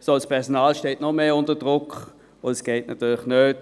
sondern das Personal steht noch mehr unter Druck, und das geht natürlich nicht.